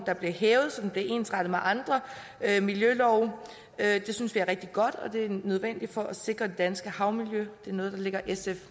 der bliver hævet så den bliver ensrettet med andre miljølove at vi synes det er rigtig godt og at det er nødvendigt for at sikre det danske havmiljø det er noget der ligger sf